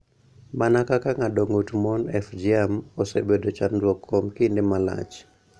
Mana kaka ng�ado ng�ut mon (FGM)�osebedo chandruok kuom kinde malach.